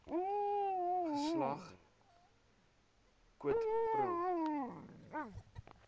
geslag quid pro